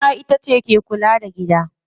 Uwa itace ke kula da gida.